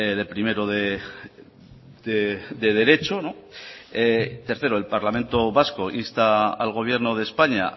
de primero de derecho tercero el parlamento vasco insta al gobierno de españa